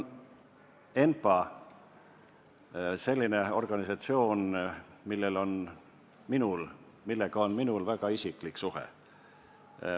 ENPA on selline organisatsioon, millega minul on väga isiklik suhe.